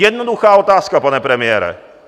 Jednoduchá otázka, pane premiére.